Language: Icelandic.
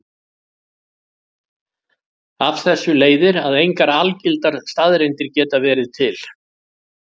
Af þessu leiðir að engar algildar staðreyndir geta verið til.